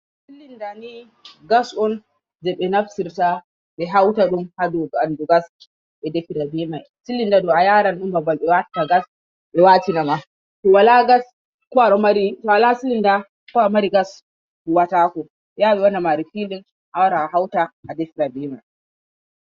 Silinda ni gas on je ɓe naftirta ɓe hautadun ha ɓandu gas be defira be mai. Silinda mai ayaran ɗum babal gas. To awala silinda ko aɗo mari gas huwatako ɓe yaha ɓe wanne refilin awara ahawta a defira be man.